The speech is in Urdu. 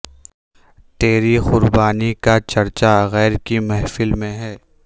تیری قربانی کا چرچا غیر کی محفل میں ہے